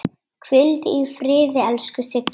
Hvíldu í friði, elsku Siggi.